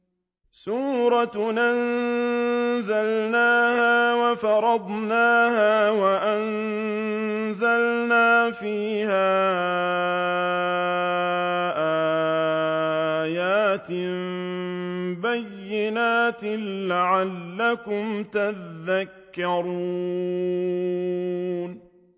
سُورَةٌ أَنزَلْنَاهَا وَفَرَضْنَاهَا وَأَنزَلْنَا فِيهَا آيَاتٍ بَيِّنَاتٍ لَّعَلَّكُمْ تَذَكَّرُونَ